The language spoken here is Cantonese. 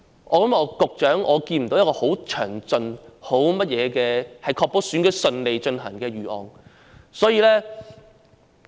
局長，我看不到局方有任何確保選舉能順利進行的詳盡預案。